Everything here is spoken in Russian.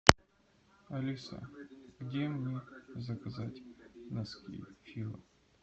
алиса где мне заказать носки фила